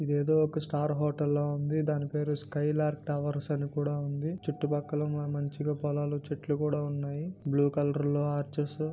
ఇదేదో ఒక star hotel లా ఉంది. దాని పేరు స్కైలార్క టవర్స్ అని కూడా ఉంది . చుట్టుపక్కల మంచిగా పొలాలుచెట్లు కూడా ఉన్నాయి . బ్లూ కలర్ లో అర్చెస్ --